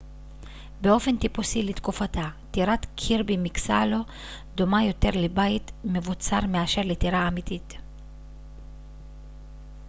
באופן טיפוסי לתקופתה טירת קירבי מקסלו דומה יותר לבית מבוצר מאשר לטירה אמיתית